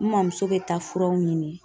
N mɔmuso be taa furaw ɲini.